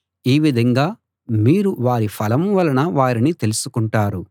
ఈ విధంగా మీరు వారి ఫలం వలన వారిని తెలుసుకుంటారు